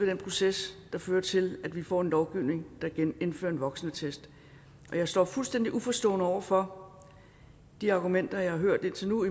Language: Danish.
den proces der fører til at vi får en lovgivning der indfører en voksenattest jeg står fuldstændig uforstående over for de argumenter jeg har hørt indtil nu